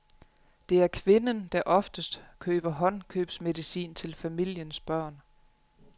Det er kvinden, der oftest køber håndkøbsmedicin til familiens børn.